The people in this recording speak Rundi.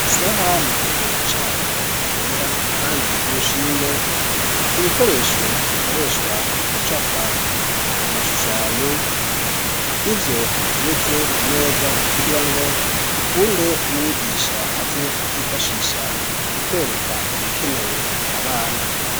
Isaha mu kiyo cayo yera kandi y'urushinge, ibikoresho bikoreshwa mu gucapa, amashushanyo nivyo biteretse ku meza kugira ngo bikunde umwigisha aze kuvyifashisha mu kwereka ibikenewe abana.